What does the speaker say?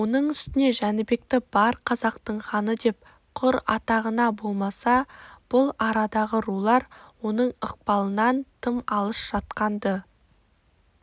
оның үстіне жәнібекті бар қазақтың ханыдеп құр атағаны болмаса бұл арадағы рулар оның ықпалынан тым алыс жатқан-ды